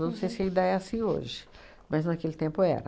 Não sei se ainda é assim hoje, mas naquele tempo era.